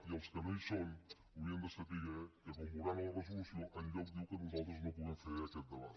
i els que no hi són haurien de saber que com veuran a la resolució enlloc diu que nosaltres no puguem fer aquest debat